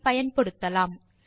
ஐ பயன்படுத்தலாம்